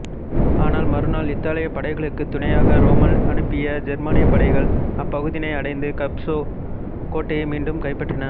ஆனால் மறுநாள் இத்தாலியப் படைகளுக்குத் துணையாக ரோம்மல் அனுப்பிய ஜெர்மானியப் படைகள் அப்பகுதியினை அடைந்து கப்பூசோ கோட்டையை மீண்டும் கைப்பற்றின